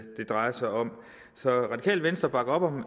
drejer sig om radikale venstre bakker op om